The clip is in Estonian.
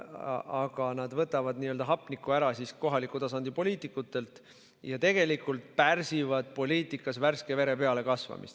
Aga nad võtavad hapnikku ära kohaliku tasandi poliitikutelt ja tegelikult pärsivad poliitikas värske vere pealekasvamist.